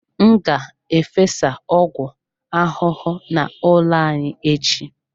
M ga-efesa ọgwụ ahụhụ n'ụlọ anyị echi.